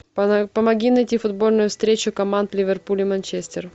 помоги найти футбольную встречу команд ливерпуль и манчестер